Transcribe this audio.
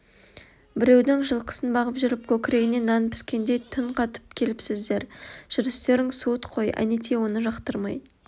біреудің жылқысын бағып жүріп көкірегіне нан піскендей түн қатып келіпсіздер жүрістерің суыт қой әнетей оны жақтырмай